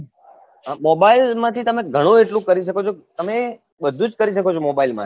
mobile માંથી ઘણું એટલું કરી શકો છો તમે બધું જ કરી શકો છો તમે બધુજ કરી શકો છો mobile મા થી